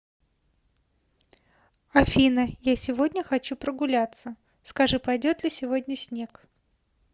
афина я сегодня хочу прогуляться скажи пойдет ли сегодня снег